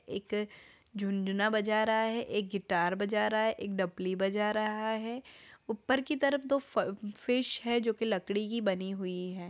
एक अ झुनजुना बजा रहा है। एक गिटार बजा रहा है। एक दफली बजा रहा है। ऊपर की तरफ दो फ फिश हैं जो लकड़ी की बनी हुई है।